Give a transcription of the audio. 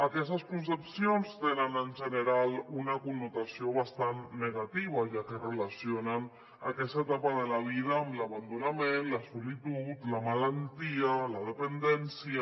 aquestes concepcions tenen en general una connotació bastant negativa ja que relacionen aquesta etapa de la vida amb l’abandonament la solitud la malaltia la dependència